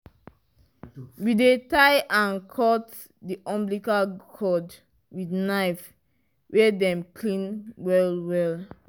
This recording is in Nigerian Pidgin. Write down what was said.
we dey tie and cut the umbilical cord with knife wey dem clean well well